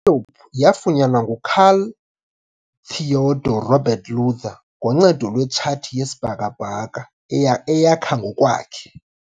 I-Antiope yafunyanwa nguKarl Theodor Robert Luther, ngoncedo lwetshathi yesibhakabhaka eyakha ngokwakhe.